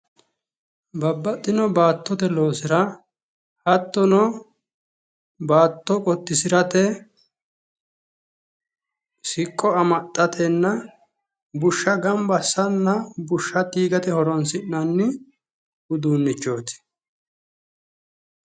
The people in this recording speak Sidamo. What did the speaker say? babbaxino baattote loosira hattono baatto qottisirate siqqo amaxxatenna bushsha ganba assatenna diigate horonsi'nanni uduunnichooti.